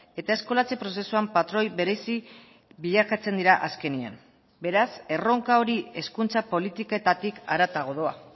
eta eskolatze prozesuan patroi berezi bilakatzen dira azkenean beraz erronka hori hezkuntza politiketatik haratago doa